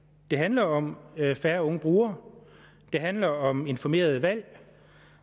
det handler om færre unge brugere det handler om informerede valg